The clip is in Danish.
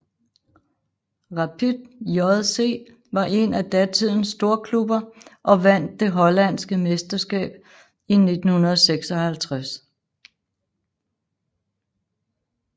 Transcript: Rapid JC var en af datidens storklubber og vandt det hollandske mesterskab i 1956